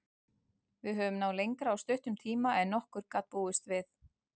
Við höfum náð lengra á stuttum tíma en nokkur gat búist við.